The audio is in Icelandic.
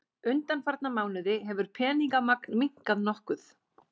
Undanfarna mánuði hefur peningamagn minnkað nokkuð